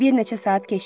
Bir neçə saat keçdi.